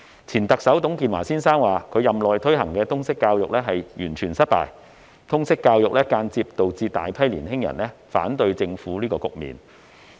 前特首董建華先生說他任內推行的通識教育完全失敗，而且間接造成大批年青人反對政府的局面。